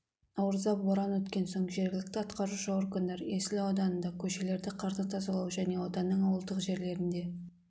наурызда боран өткен соң жергілікті атқарушы органдар есіл ауданында көшелерді қардан тазалау және ауданның ауылдық жерлерінде